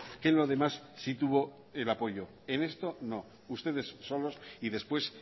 que lo demás sí tuvo el apoyo en esto no ustedes solos y después